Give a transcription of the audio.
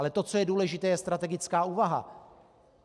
Ale to, co je důležité, je strategická úvaha.